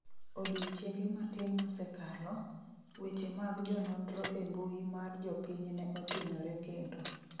odiochienge matin mosekalo, weche mag jononro e mbui mar jopiny ne othinyore kendo